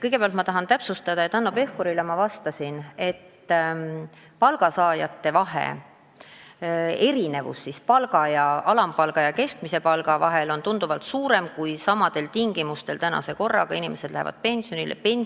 Kõigepealt ma tahan täpsustada, et Hanno Pevkurile vastates ma pidasin silmas seda, et erinevus alampalga ja keskmise palga vahel on tunduvalt suurem kui erinevus nende inimeste pensionide vahel, kui nad praeguse korra kohaselt pensionile on läinud.